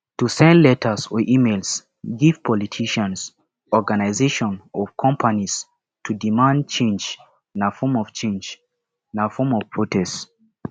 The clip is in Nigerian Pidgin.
to send letters or emails give politicians organisation or companies to demand change na form change na form of protest